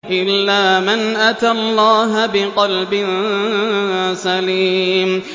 إِلَّا مَنْ أَتَى اللَّهَ بِقَلْبٍ سَلِيمٍ